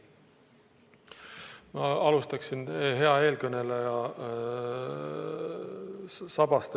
Ma alustaksin hea eelkõneleja kõne sabast.